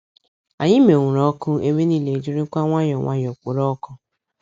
Anyị menwuru ọkụ, ebe niile ejirikwa nwayọọ nwayọọ kpòró ọkụ.